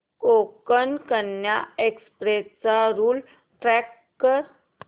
Konkan Kanya express चा route track कर